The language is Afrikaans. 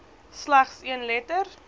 slegs een letter